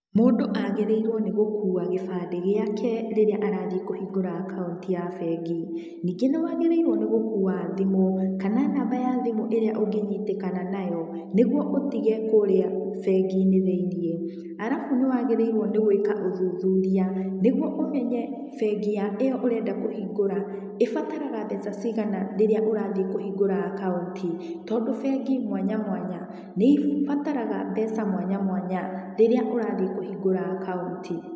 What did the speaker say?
Mũndũ agĩrĩirũo nĩ gũkua kĩbandĩ gĩake rĩrĩa arathiĩ kũhingũra akaunti ya bengi. Ningĩ nĩwagĩrĩirũo nĩ gũkua thimũ kana namba ya thimũ ĩrĩa ũngĩnyitĩkana nayo, nĩguo ũtige kũrĩa bengi-inĩ thĩiniĩ. Arabu nĩwagĩrĩirũo nĩ gũĩka ũthuthuria, nĩguo ũmenye, bengi ya ĩyo ũrenda kũhingũra ĩbataraga mbeca cigana rĩrĩa ũrathiĩ kũhingũra akaunti. Tondũ bengi mwanya mwanya, nĩibataraga mbeca mwanya mwanya, rĩrĩa ũrathiĩ kũhingũra akaunti.